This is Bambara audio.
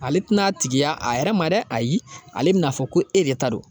Ale tina tigiya a yɛrɛ ma dɛ ayi ale bina fɔ ko e de ta don